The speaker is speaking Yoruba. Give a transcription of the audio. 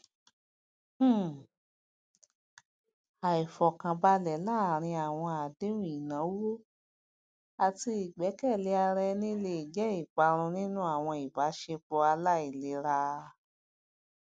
um àìfọkànbalẹ láàárín àwọn àdéhùn ináwó àti ìgbẹkẹlé ara ẹni lè jẹ iparun nínú àwọn ìbáṣepọ aláìlera